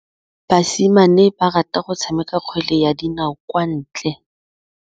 Basimane ba rata go tshameka kgwele ya dinaô kwa ntle.